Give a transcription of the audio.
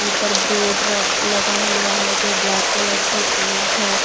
ऊपर बोर्ड र लगा हुआ है जो ब्लैक कलर से पेंट है ।